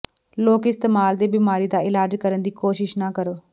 ਲੋਕ ਇਸਤੇਮਲ ਦੇ ਬਿਮਾਰੀ ਦਾ ਇਲਾਜ ਕਰਨ ਦੀ ਕੋਸ਼ਿਸ਼ ਨਾ ਕਰੋ